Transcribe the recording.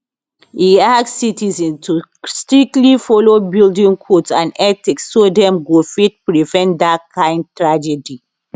e ask citizens to strictly follow building codes and ethics so dem go fit prevent dat kind tragedy